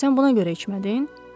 Sən buna görə içmədin?